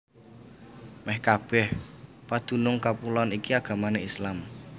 Mèh kabèh padunung kapuloan iki agamané Islam